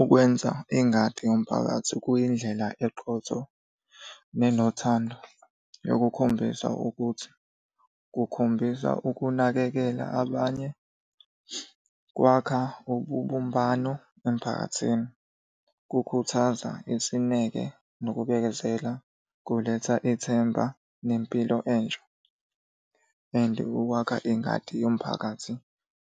Ukwenza ingadi yomphakathi kuyindlela eqotho nenothando yokukhombisa ukuthi, kukhombisa ukunakekela abanye, kwakha ubumbano emphakathini. Kukhuthaza isineke nokubekezela, kuletha ithemba nempilo entsha, and ukwakha ingadi yomphakathi